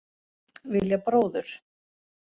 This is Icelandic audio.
Vilja bróður